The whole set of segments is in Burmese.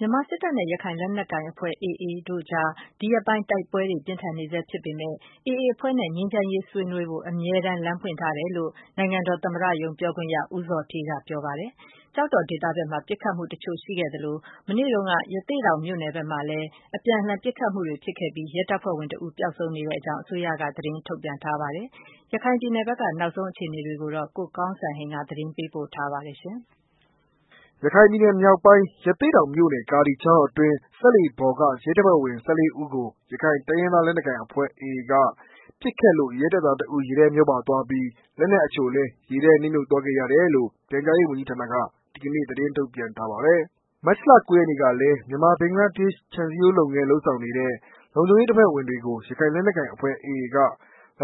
မြန်မာစစ်တပ်နဲ့ ရခိုင် လက်နက်ကိုင်အဖွဲ့ AA တွေအကြား ဒီရက်ပိုင်း တိုက်ပွဲတွေ ပြင်းထန်နေဆဲ ဖြစ်ပေမယ့်လည်း AAအဖွဲ့နဲ့ ငြိမ်းချမ်းရေးဆွေးနွေးဖို့အတွက် အမြဲတမ်း လမ်းဖွင့်ထားတယ်လို့ နိုင်ငံတော်သမ္မတရုံး ပြောရေးဆိုခွင့်ရှိသူ ဦးဇော်ဌေးက ပြောဆိုလိုက်ပါတယ်။ ကျောက်တော်ဒေသဘက်မှာ ပစ်ခတ်မှုတချို့ ရှိခဲ့သလို၊ ရသေ့တောင်မြို့နယ်မှာလည်း မနေ့က အပြန်အလှန် ပစ်ခတ်မှုတွေ ဖြစ်ခဲ့ပြီး ရဲတပ်ဖွဲ့ဝင်တဦး ပျောက်ဆုံးနေတဲ့အကြောင်း အစိုးရက သတင်းထုတ်ပြန်ထားပါတယ်။ ရခိုင်ပြည်နယ်ဘက်က နောက်ဆုံးအခြေအနေကို ကိုကောင်းစံဟိန်းက သတင်းပေးပို့ထားပါတယ်။ ရခိုင်ပြည်နယ်မြောက်ပိုင်း၊ ရသေ့တောင်မြို့နယ်ကာဒီချောင်းအတွင်း စက်လှေပေါ်က ရဲတပ်ဖွဲ့ဝင် ၁၄ ဦးကို ရခိုင်တိုင်းရင်းသား လက်နက်ကိုင်အဖွဲ့ AA က ပစ်ခတ်လို့ ရဲတပ်သားတစ်ဦး ရေထဲမျောပါသွားပြီး လက်နက်အချို့လည်း ရေထဲ နစ်မြုပ်သွားခဲ့ ရတယ်လို့ ပြန်ကြားရေးဝန်ကြီးဌာနက ဒီကနေ့သတင်းထုတ်ပြန်ထားပါတယ်။ မတ်လ ၉ ရက်နေ့ကလည်း မြန်မာ-ဘင်္ဂလားဒေ့ရှ် ခြံစည်းရိုးလုပ်ငန်း လုပ်ဆောင်နေတဲ့ လုံခြုံရေး တပ်ဖွဲ့ဝင်တွေကို ရခိုင်လက်နက်ကိုင်အဖွဲ့ AA က လာ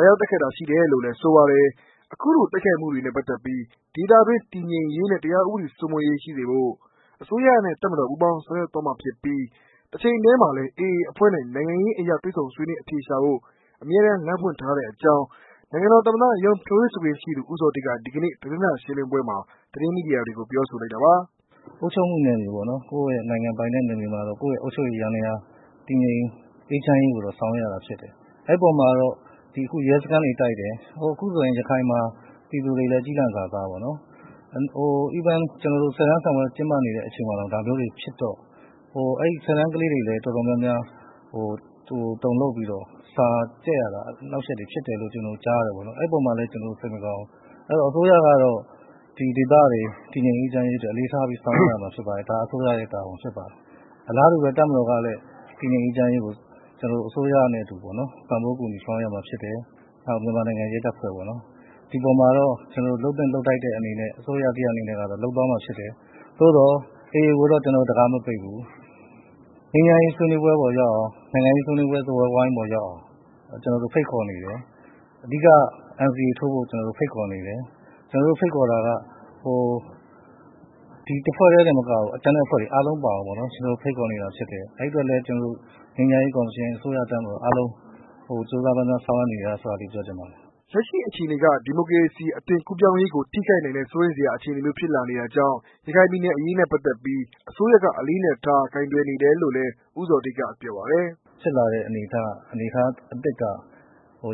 ရောက် တိုက်ခိုက်တာ ရှိတယ်လို့လည်း ဆိုပါတယ်။ ခုလို တိုက်ခိုက်မှုတွေနဲ့ပတ်သက်လို့ ဒေသတွင်း တည်ငြိမ်ရေးနဲ့ ဥပဒေစိုးမိုးမှုရှိစေဖို့ အစိုးရနဲ့ တပ်မတော် ပူးပေါင်းဆောင်ရွက်သွားမှာ ဖြစ်ပြီး တချိန်တည်းမှာလည်း AA အဖွဲ့နဲ့ နိုင်ငံရေးအရ တွေ့ဆုံဆွေးနွေးအဖြေရှာဖို့ အမြဲလမ်းဖွင့်ထားတဲ့အကြောင်း နိုင်ငံတော် သမ္မတရုံး ပြောရေးဆိုခွင့်ရှိသူ ဦးဇော်ဌေးက ဒီကနေ့ သတင်းစာရှင်းလင်းပွဲမှာ သတင်းမီဒီယာတွေကို ပြောဆိုလိုက်တာပါ။ "အုပ်ချုပ်မှုနယ်မြေပေါ့နော်၊ ကိုယ့်ရဲ့နိုင်ငံပိုင်တဲ့နယ်မြေမှာတော့ အုပ်ချုပ်ရေး ယန္တရား တည်ငြိမ်အောင် ဆောင်ရွက်ရတာတော့ ဖြစ်တယ်။အဲ့အပေါ်မှာကတော့ ဒီအခု ရဲစခန်းတွေ တိုက်တယ် အခုဆိုရင် ရခိုင်မှာပြည်သူတွေလည်း ကျီးလန့်စာ စားပေါ့နော်။ ဆယ်တန်းစာမေးပွဲ ကျင်းပနေတဲ့ အချိန်မှာတောင် ဒါမျိုးတွေဖြစ်တော့ ဆယ်တန်းကလေးတွေလည်း တုန်လှုပ်ပြီးတော့ စာကျက်ရတာ အနှောင့်အယှက် ဖြစ်တယ်လို့လည်း ကျနာ်တို့ ကြားသိရတဲ့အတွက် စိတ်မကောင်းဖြစ်မိတယ်။ အစိုးရကတော့ ဒေသတွေတည်ငြိမ်အေးချမ်းရေးအတွက် အဓိကထား ဆောင်ရွက်ရမှာ ဖြစ်ပါတယ်။အစိုးရရဲ့ တာဝန်ဖြစ်ပါတယ်။အလားတူဘဲ တပ်မတော်ကလည်း တည်ငြိမ်အေးချမ်းရေးကို အစိုးရနဲ့အတူပေါ့နော် ပံ့ပိုးကူညီဆောင်ရွက် ရမှာဖြစ်တယ်။ နောက် မြန်မာနိုင်ငံရဲတပ်ဖွဲကပေါ့နော်။ဒီပေါ်မှာတော့ အစိုးရ တစ်ရပ်အနေနဲ့ လုပ်သင့်လုပ်ထိုက်တဲ့ဟာကို လုပ်သွားမှာဖြစ်တယ်။သို့သော် AAကိုတော့ လမ်းမပိတ်ဘူး။ ငြိမ်းချမ်းရေး ဆွေးနွေးပွဲပေါ်ရောက်အောင်နိုင်ငံရေး စကားဝိုင်းပေါ်ရောက်အောင် ကျနော်တို့ ဖိတ်ခေါ်နေတယ်။အဓိက NCAထိုးဖို့ ကျနော်တို့ဖိတ်ခေါ်နေတယ်။ ကျနော်တို့ ဒီတစ်ဖွဲ့တည်းတင်မကဘူး ။ကျန်တဲ့အဖွဲ့တွေအားလုံးပါအောင် ကျနော်တို့ ဖိတ်ခေါ်နေတာဖြစ်တယ်။ အဲ့ဒီအတွက်လည်း ငြိမ်းချမ်းရေး ကော်မရှင်၊အစိုးရ ၊တပ်မတော်အားလုံး ကြိုးစားဆောင်ရွက်နေတယ်လို့ပြောချင်တယ်။" လက်ရှိအခြေအနေက ဒီမိုကရေစီအသွင်ကူးပြောင်းရေးကို ထိခိုက်နိုင်တဲ့ စိုးရိမ်စရာ အခြေအနေမျိုး ဖြစ်လာနေတာကြောင့် ရခိုင်ပြည်နယ်အရေးနဲ့ပတ်သက်လို့ အစိုးရက အလေးအနက်ထား ကိုင်တွယ်နေတယ်လို့လည်း ဦးဇော်ဌေးက ပြောပါတယ်။ "ဖြစ်လာတဲ့ အနေအထားအသစ်က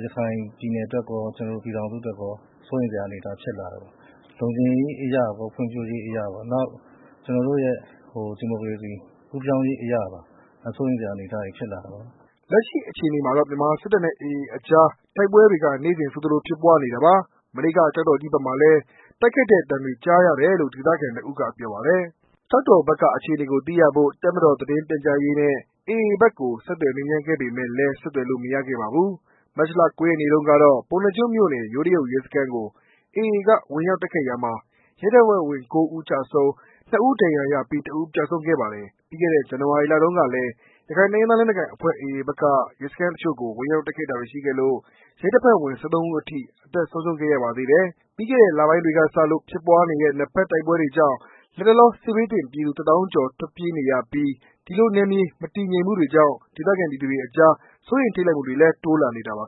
ရခိုင်ပြည်နယ်အတွက်ရော ကျနော်တို့ ပြည်ထောင်စု အတွက်ရော စိုးရိမ်စရာအနေအထားဖြစ်လာတယ်။လုံခြုံရေးအရရော ဖွံ့ဖြိုးရေး အရရော နောက်ဒီမိုကရေစီ ကူးပြောင်းရေးအရပါ စိုးရိမ်စရာဖြစ်လာတယ်။" လက်ရှိအခြေအနေမှာကတော့ မြန်မာစစ်တပ်နဲ့ AA အကြား တိုက်ပွဲတွေက နေ့စဉ်ဆိုသလို ဖြစ်ပွားနေတာပါ။ မနေ့က ကျောက်တော်ကြီးဘက်မှာလည်း တိုက်ခတ်တဲ့အသံတွေ ကြားရတယ်လို့ ဒေသခံတစ်ဦးကပြောပါတယ်။ ကျောက်တော်ဘက်က အခြေအနေကို သိရဖို့ တပ်မတော်သတင်းပြန်ကြားရေးနဲ့ AA ဘက်ကို ဆက်သွယ်မေးမြန်းခဲ့ပေမယ့်လည်း ဆက်သွယ်လို့မရခဲ့ပါဘူး။ မတ်လ၉ရက်နေ့တုန်းကတော့ ပုဏ္ဏားကျွန်းမြို့နယ် ယိုးတရုတ်ရဲစခန်း ကို AA က ဝင်ရောက် တိုက်ခိုက်ရာမှာ ရဲတပ်ဖွဲ့ဝင် ၉ ဦးကျဆုံး၊ နှစ်ဦး ဒဏ်ရာရပြီး၊ တစ်ဦးပျောက်ဆုံး ခဲ့ပါတယ်။ ပြီးခဲ့တဲ့ ဇန်နဝါရီလတုန်းကလည်း ရခိုင်တိုင်းရင်းသား လက်နက်ကိုင်တပ်ဖွဲ့ AA ဘက်က ရဲစခန်းတချို့ကို ဝင်ရောက်တိုက်ခိုက်တာတွေရှိခဲ့လို့ ရဲတပ်ဖွဲ့ဝင် ၁၃ဦး အထိ အသက်ဆုံးရှုံးခဲ့ရပါသေးတယ်။ ပြီးခဲ့တဲ့လပိုင်းတွေကစလို့ ဖြစ်ပွားနေတဲ့ နှစ်ဘက် တိုက်ပွဲတွေကြောင့် လတ်တလော စစ်ဘေးသင့်ပြည်သူ တသောင်းကျော် ထွက်ပြေးနေကြရပြီး ဒီလိုနယ်မြေ မတည်ငြိမ်မှုတွေကြောင့် ဒေသခံပြည်သူတွေအကြား စိုးရိမ်ထိတ်လန့်မှုတွေလည်း တိုးလာနေပါ